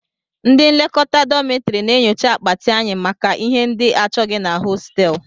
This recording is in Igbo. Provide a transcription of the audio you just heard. Ndị nlekọta dọmịtọrị na-enyocha akpati anyị maka ihe ndị achọghị na hostel